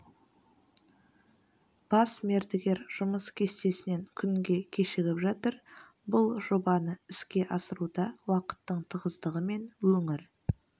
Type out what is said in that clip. бас мердігер жұмыс кестесінен күнге кешігіп жатыр бұл жобаны іске асыруда уақыттың тығыздығы мен өңір